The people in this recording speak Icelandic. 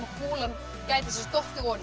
kúlan gæti dottið oní